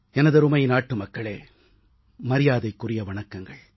எனதருமை நாட்டுமக்களே மரியாதைக்குரிய வணக்கங்கள்